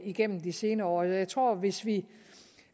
igennem de senere år jeg tror at hvis vi